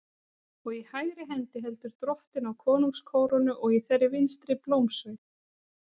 Og í hægri hendi heldur Drottinn á konungskórónu og í þeirri vinstri blómsveig.